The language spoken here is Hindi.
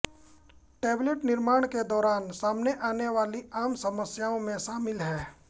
टैबलेट निर्माण के दौरान सामने आने वाली आम समस्याओं में शामिल हैं